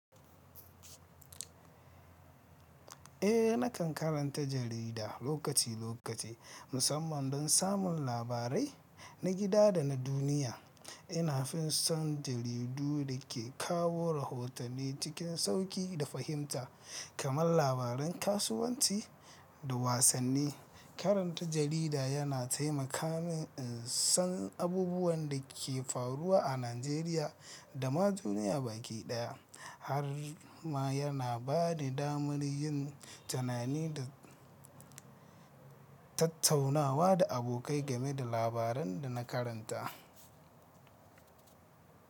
Eh, nakan karanta jarida lokaci lokaci, musamman don samun labarai na gida da na duniya. Ina fi son jaridu da ke kawo rahotanni cikin sauƙi da fahimta, kamar labaran kasuwanci da wasanni. Karanta jarida yana taimaka min in san abubuwan da ke faruwa a Najeriya da ma duniya baki ɗaya, har ma yana ba ni damar yin tunani da tattaunawa da abokai game da labaran da na karanta.